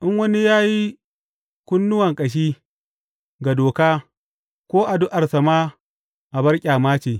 In wani ya yi kunnuwa ƙashi ga doka ko addu’arsa ma abar ƙyama ce.